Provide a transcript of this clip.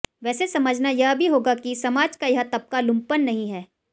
वैसे समझना यह भी होगा कि समाज का यह तबका लुपंन नहीं है